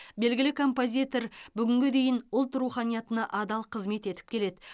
белгілі композитор бүгінге дейін ұлт руханиятына адал қызмет етіп келеді